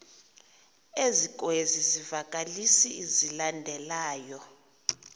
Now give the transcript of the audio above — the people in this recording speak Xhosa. ezikwezi zivakalisi zilandelayo